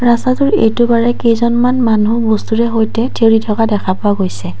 ৰাস্তাটোৰ এইটো পাৰে কেইজনমান মানুহ বস্তুৰে সৈতে থিয়ৰি থকা দেখা পোৱা গৈছে।